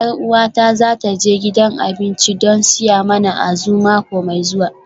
Yar uwata za ta je gidan abinci don siya mana Azu mako mai zuwa